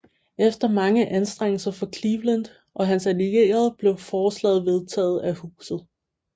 Efter mange anstrengelser fra Cleveland og hans allierede blev forslaget vedtaget af Huset